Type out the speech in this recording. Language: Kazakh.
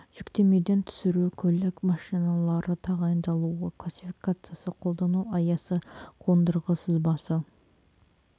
жүктемеден түсіру көлік машиналары тағайындалуы классификациясы қолдану аясы қондырғы сызбасы